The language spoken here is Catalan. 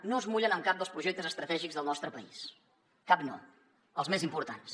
no es mullen en cap dels projectes estratègics del nostre país cap no els més importants